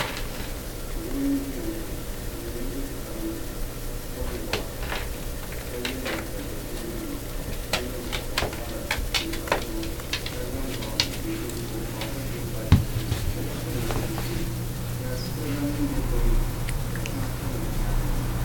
Doo n ʒiya ŋo o nyɛla do sabinli ka waɣa ka yɛ liiga dozim gbunni ka yɛ goɣa boɣa waɣala n pa dizuɣu ka zaŋ goɣa dozim n pa o boɣu ka gbubi baaji ʒiɛka piri namdi ʒiɛ ka kolba nim bɛ binni ka shɛŋa tam o nyaanga